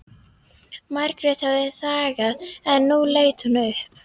Margrét hafði þagað en nú leit hún upp.